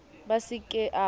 b a se ke a